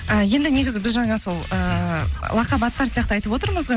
і енді негізі біз жаңа сол ыыы лақап аттар сияқты айтып отырмыз ғой